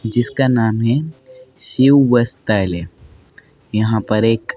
जिसका नाम है शिव वसतैले यहां पर एक--